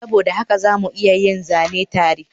Saboda haka za mu iya yin zane tare